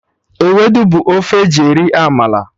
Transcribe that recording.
Ewedu bụ ofe eji eri amala